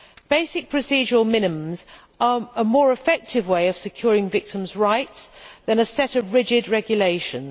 Basic procedural minimums are a more effective way of securing victims' rights than a set of rigid regulations.